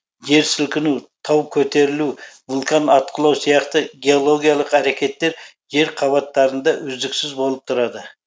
жер сілкіну тау көтерілу вулкан атқылау сияқты геологиялық әрекеттер жер қабаттарында үздіксіз болып тұрады